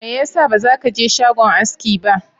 Mai yasa baza kaje shagon aski ba?